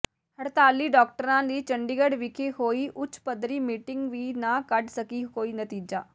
ਹੜਤਾਲੀ ਡਾਕਟਰਾਂ ਦੀ ਚੰਡੀਗੜ੍ਹ ਵਿਖੇ ਹੋਈ ਉੱਚ ਪੱਧਰੀ ਮੀਟਿੰਗ ਵੀ ਨਾ ਕੱਢ ਸਕੀ ਕੋਈ ਨਤੀਜਾ